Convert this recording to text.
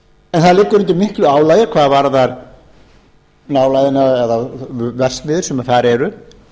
en það liggur undir miklu álagi hvað varðar nálægðina eða verksmiðjur sem þar eru